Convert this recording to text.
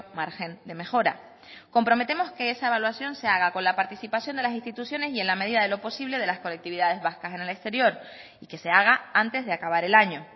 margen de mejora comprometemos que esa evaluación se haga con la con la participación de las instituciones y en la medida de lo posible de las colectividades vascas en el exterior y que se haga antes de acabar el año